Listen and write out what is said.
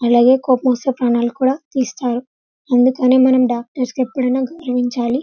అలాగే కోపం వస్తే ప్రాణాలు కూడా తీస్తారు అందుకే మనం డాక్టర్స్ ని గౌరవించాలి --